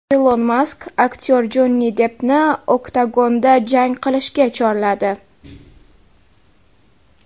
Ilon Mask aktyor Jonni Deppni oktagonda jang qilishga chorladi.